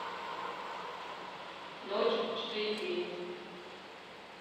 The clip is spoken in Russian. ночь четыре кей